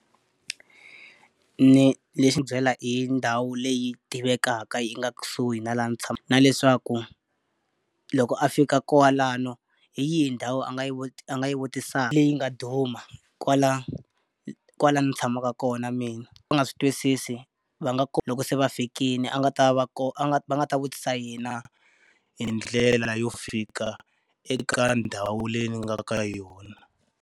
Ni xi byela hi ndhawu leyi tivekaka yi nga kusuhi na laha ni na leswaku loko a fika kwalano hi yihi ndhawu a nga yi a nga yi vutisaka leyi nga duma kwala kwala ni tshamaka kona mina. Va nga swi twisisi, va nga loko se va fikile a nga ta va a nga va nga ta vutisa yena hi ndlela leyo fika eka ndhawu leyi ni nga ka yona.